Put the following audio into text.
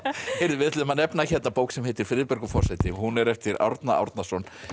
við ætluðum að nefna hérna bók sem heitir forseti hún er eftir Árna Árnason